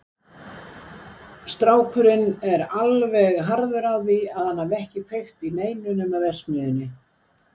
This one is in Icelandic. Strákurinn er alveg harður á því að hann hafi ekki kveikt í neinu nema verksmiðjunni.